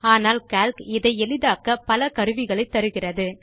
ஆனால் கால்க் இதை எளிதாக்க பல கருவிகளை தருகிறது